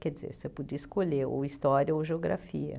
Quer dizer, você podia escolher ou História ou Geografia.